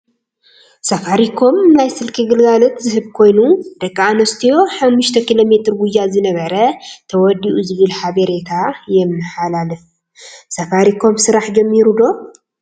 ሳፋሪኮም ናይ ስልኪ ግልጋሎት ዝህብ ኮይኑ ንደቂ ኣንስትዮ ሓሙስተ ኪሎሜትር ጉያ ዝነበረ ተወዲኡ ዝብል ሓበሬታ የመሓላ ለፍ:: ሳፋሪኮም ስራሕ ጀሚሩ ዶ?